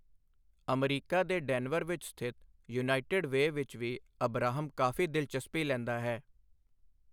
America ਦੇ Denver ਵਿੱਚ ਸਥਿਤ ਯੂਨਾਈਟਿਡ ਵੇਅ ਵਿੱਚ ਵੀ ਅਬਰਾਹਾਮ ਕਾਫ਼ੀ ਦਿਲਚਸਪੀ ਲੈਂਦਾ ਹੈ।